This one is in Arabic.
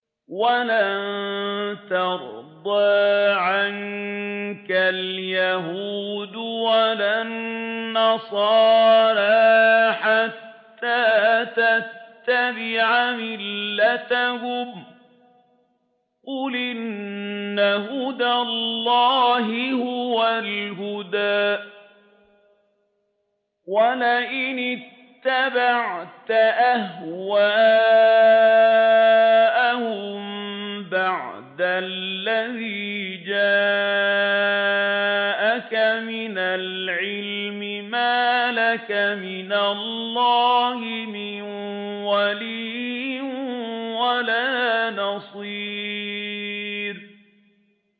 وَلَن تَرْضَىٰ عَنكَ الْيَهُودُ وَلَا النَّصَارَىٰ حَتَّىٰ تَتَّبِعَ مِلَّتَهُمْ ۗ قُلْ إِنَّ هُدَى اللَّهِ هُوَ الْهُدَىٰ ۗ وَلَئِنِ اتَّبَعْتَ أَهْوَاءَهُم بَعْدَ الَّذِي جَاءَكَ مِنَ الْعِلْمِ ۙ مَا لَكَ مِنَ اللَّهِ مِن وَلِيٍّ وَلَا نَصِيرٍ